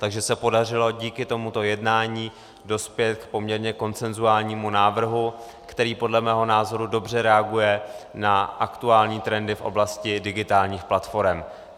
Takže se podařilo díky tomuto jednání dospět k poměrně konsenzuálnímu návrhu, který podle mého názoru dobře reaguje na aktuální trendy v oblasti digitálních platforem.